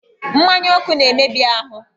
Mmanya ọkụ na-emebi ahụ.